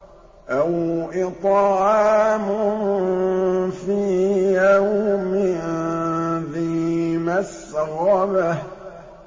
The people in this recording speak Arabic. أَوْ إِطْعَامٌ فِي يَوْمٍ ذِي مَسْغَبَةٍ